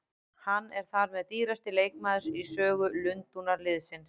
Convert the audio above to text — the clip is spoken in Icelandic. Hann er þar með dýrasti leikmaðurinn í sögu Lundúnarliðsins.